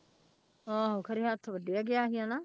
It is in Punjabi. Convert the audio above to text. ਆਹੋ ਖਰੇ ਹੱਥ ਵੱਢਿਆ ਗਿਆ ਸੀ ਹਨਾ।